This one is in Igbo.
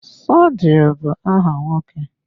Sodiq bụ áhà nwoke.